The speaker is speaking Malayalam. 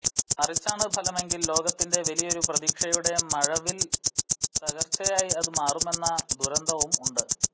മറിച്ചാണ് ഫലമെങ്കിൽ ലോകത്തിന്റെ വലിയൊരു പ്രതീക്ഷയുടെ മഴവിൽ തകർച്ചയായി അത് മാറുമെന്ന ദുരന്തവും ഉണ്ട്